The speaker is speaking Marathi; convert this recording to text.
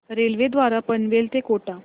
रेल्वे द्वारे पनवेल ते कोटा